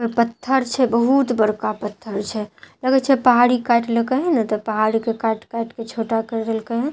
पत्थर छे बहुत बड़का पत्थर छे लगए छे पहाड़ी काईट लेकए ना त पहाड़ी के काटि काटि के छोटा करदेलके यै --